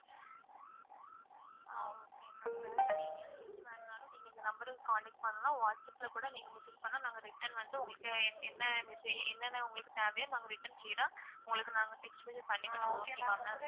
ஆஹ் okay ma'am வேற details எது வேணாலும் நீங்க இந்த number க்கு contact பண்லாம் whatsapp ல கூட நீங்க message பண்லாம் நாங்க return வந்து உங்களுக்கு என்ன என்னென்ன உங்களுக்கு தேவையோ நாங்க return clear ஆ text message பண்ணி விடுவோம் okay வா ma'am?